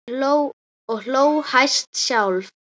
Og hló hæst sjálf.